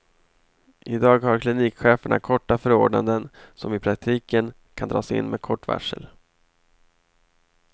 I dag har klinikcheferna korta förordnanden som i praktiken kan dras in med kort varsel.